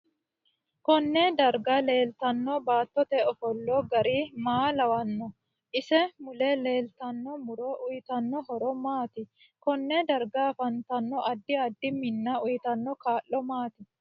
KOnne darga leeltanno baatote ofolla gari maa lawanno isi mule leeltanno muro uyiitanno horo maati konne darga afantanno addi addi minna uyiitanno kaa'lo maati